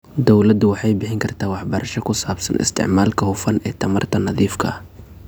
Dawladdu waxay bixin kartaa waxbarasho ku saabsan isticmaalka hufan ee tamarta nadiifka ah.